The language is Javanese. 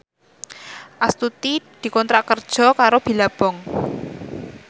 Astuti dikontrak kerja karo Billabong